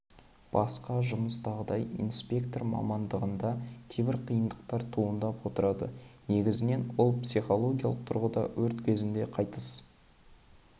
басқа жұмыстағыдай инспектор мамандығында кейбір қиындықтар туындап отырады негізінен ол психологиялық тұрғыда өрт кезінде қайтыс